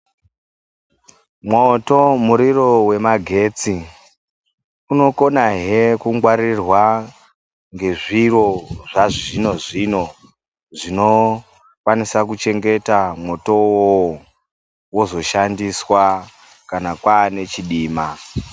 Mwoto muriro vemagetsi unokonahe kungwaririrwa ngezviro zvazvino-zvino, zvinokwanisa kuchengeta mwoto iwowo vozoshsndiswa kana kwaane chidima.